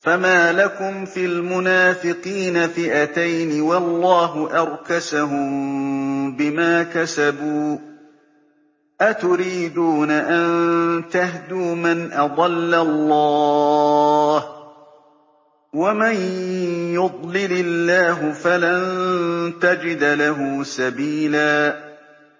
۞ فَمَا لَكُمْ فِي الْمُنَافِقِينَ فِئَتَيْنِ وَاللَّهُ أَرْكَسَهُم بِمَا كَسَبُوا ۚ أَتُرِيدُونَ أَن تَهْدُوا مَنْ أَضَلَّ اللَّهُ ۖ وَمَن يُضْلِلِ اللَّهُ فَلَن تَجِدَ لَهُ سَبِيلًا